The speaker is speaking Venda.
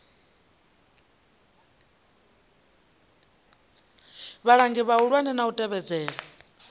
vhalangi vhahulwane na u tevhedzela